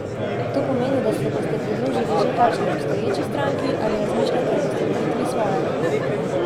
To pomeni, da se boste pridružili že kakšni obstoječi stranki, ali razmišljate o ustanovitvi svoje?